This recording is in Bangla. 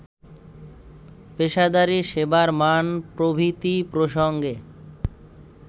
পেশাদারি, সেবার মান প্রভৃতি প্রসঙ্গে